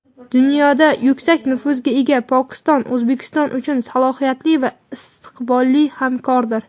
Dunyoda yuksak nufuzga ega Pokiston O‘zbekiston uchun salohiyatli va istiqbolli hamkordir.